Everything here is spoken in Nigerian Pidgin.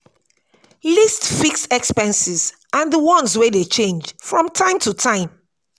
list fixed expenses and di ones wey dey change from time to time